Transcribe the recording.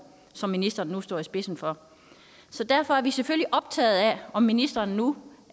som ministeren nu står i spidsen for så derfor er vi selvfølgelig optaget af om ministeren nu